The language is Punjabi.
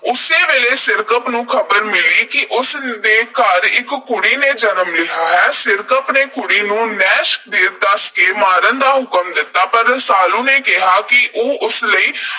ਉਸੇ ਵੇਲੇ ਸਿਰਕੱਪ ਨੂੰ ਖ਼ਬਰ ਮਿਲੀ ਕਿ ਉਸ ਦੇ ਘਰ ਇਕ ਕੁੜੀ ਨੇ ਜਨਮ ਲਿਆ ਹੈ। ਸਿਰਕੱਪ ਨੇ ਕੁੜੀ ਨੂੰ ਨਹਿਸ਼ ਦੱਸ ਕੇ ਮਾਰਨ ਦਾ ਹੁਕਮ ਦਿੱਤਾ। ਪਰ ਰਸਾਲੂ ਨੇ ਕਿਹਾ ਕਿ ਉਹ ਉਸ ਲਈ